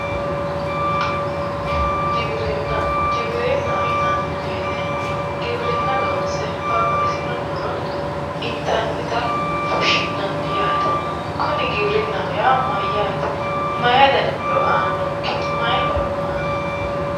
Giwirinna, giwrinna yinani woyiite giwirinna loonse babbaxitino muro intannita fushshi'nanni yaate. kuni giwirinnaho yaa mayyaate? mayii dani muro aannonke? mayi horono aannonke?